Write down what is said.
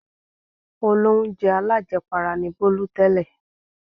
Olóunjẹ alájẹpara ni Bólú tẹ́lẹ̀.